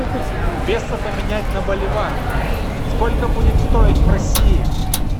песо поменять на боливар сколько будет стоить в россии